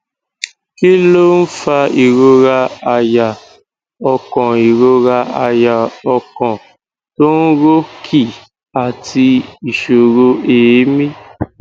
kí ló ń fa ìrora àyà ọkàn ìrora àyà ọkàn to n ro ki àti ìṣòro eemí